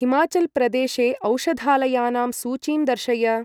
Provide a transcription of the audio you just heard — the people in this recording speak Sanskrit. हिमाचल् प्रदेशेऔषधालयानां सूचीं दर्शय।